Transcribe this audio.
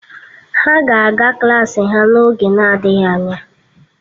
Ha ga-aga klaasị ha n'oge adịghị anya